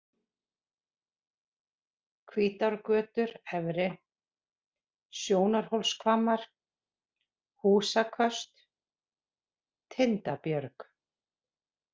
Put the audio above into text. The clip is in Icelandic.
Hvítárgötur efri, Sjónarhólshvammar, Húsaköst, Tindabjörg